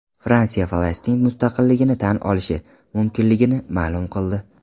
Fransiya Falastin mustaqilligini tan olishi mumkinligini ma’lum qildi.